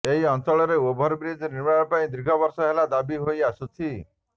ଏହି ଅଞ୍ଚଳରେ ଓଭର୍ବ୍ରିଜ୍ ନିର୍ମାଣ ପାଇଁ ଦୀର୍ଘ ବର୍ଷ ହେଲା ଦାବି ହୋଇ ଆସୁଛି